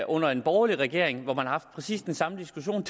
under en borgerlig regering hvor man har haft præcis den samme diskussion